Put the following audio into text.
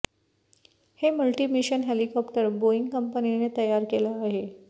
हे multi mission helicopter Boeing कंपनीने तयार केलं आहे